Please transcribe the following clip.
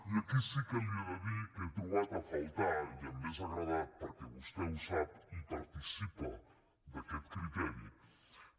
i aquí sí que li he de dir que he trobat a faltar i m’hauria agradat perquè vostè ho sap i participa d’aquest criteri